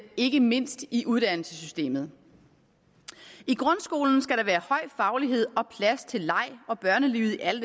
ikke mindst i uddannelsessystemet i grundskolen skal der være høj faglighed og plads til leg og børnelyde i alle